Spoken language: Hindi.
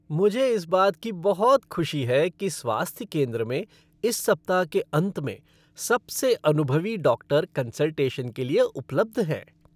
मुझे इस बात की बहुत खुशी है कि स्वास्थ्य केंद्र में इस सप्ताह के अंत में सबसे अनुभवी डॉक्टर कंसल्टेशन के लिए उपलब्ध हैं।